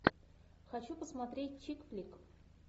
хочу посмотреть чикфлик